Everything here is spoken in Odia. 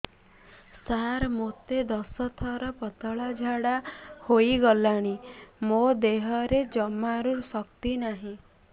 ସାର ମୋତେ ଦଶ ଥର ପତଳା ଝାଡା ହେଇଗଲାଣି ମୋ ଦେହରେ ଜମାରୁ ଶକ୍ତି ନାହିଁ